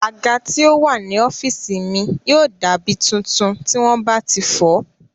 Àga tí ó wà ní ọ́físì mi yóò dá mí tuntun tí wọ́n bá ti fọ̀ọ́